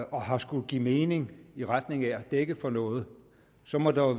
og har skullet give mening i retning af at dække for noget så må der